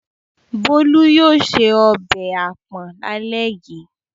Bolu yóò se ọbẹ̀ àpọ̀n lálẹ́ yìí.